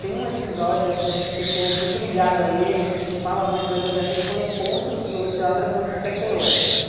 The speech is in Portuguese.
Tem um episódio que ficou muito ligado a ele, que se fala muito na geografia, que foi o encontro dos geógrafos de setenta e oito.